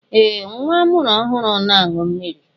Ee! Nwa amụrụ ọhụrụ na-aṅụ mmiri.